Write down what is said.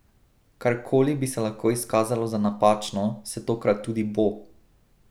Karkoli bi se lahko izkazalo za napačno, se tokrat tudi bo!